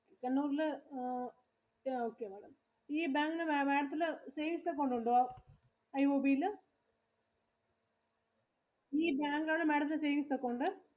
കണ്ണൂരില് ഇത് okay ആണ്. ഈ bank ഇല് Madam ത്തിനു savings account ഉണ്ടോ? IOB ഇല്. ഈ bank ഇലാണോ Madam ത്തിന്റെ saving account.